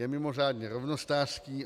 Je mimořádně rovnostářský.